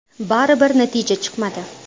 Baribir natija chiqmadi.